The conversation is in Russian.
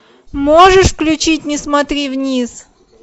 можешь включить не смотри вниз